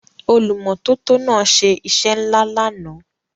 Olùmọ́tótó náà ṣe iṣẹ́ ńlá lánàá.